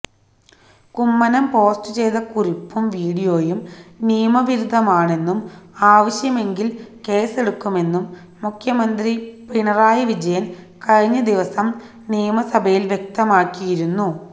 Kummanam post ചെയ്ത കുറിപ്പും വീഡിയോയും നിയമവിരുദ്ധമാണെന്നും ആവശ്യമെങ്കില് കേസെടുക്കുമെന്നും മുഖ്യമന്ത്രി പിണറായി വിജയന് കഴിഞ്ഞദിവസം നിയമസഭയില് വ്യക്തമാക്കിയിരുന്നു